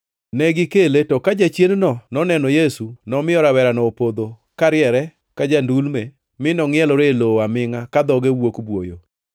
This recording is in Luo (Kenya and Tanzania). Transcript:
Negikele to ka jachiendno noneno Yesu, nomiyo rawerano opodho kariere ka ja-ndulme mi nongʼielore e lowo amingʼa ka dhoge wuok buoyo.